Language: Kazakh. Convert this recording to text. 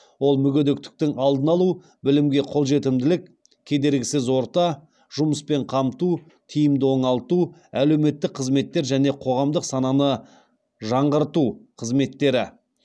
ол мүгедектіктің алдын алу білімге қолжетімділік кедергісіз орта жұмыспен қамту тиімді оңалту әлеуметтік қызметтер және қоғамдық сананы жаңғырту қызметтері